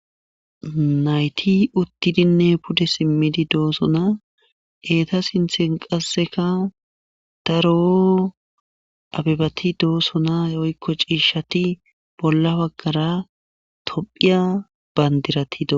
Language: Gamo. nayti uttidinne pude simmidi doossona eeta sinthen qasseka daroo abibati doosona woykko ciishati bolla baggara tophiya bandirati dosona